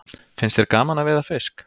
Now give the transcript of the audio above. Finnst þér gaman að veiða fisk?